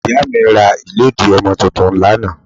Ìyá mi ra ìlédìí ọmọ tuntun lánàá